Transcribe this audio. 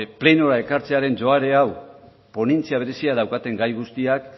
plenora ekartzean joera hau ponentzia berezia daukaten gai guztiak